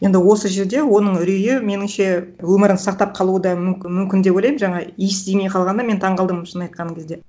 енді осы жерде оның үрейі меніңше өмірін сақтап қалуы да мүмкін деп ойлаймын жаңа иіс тимей қалғанына мен таңғалдым шын айтқан кезде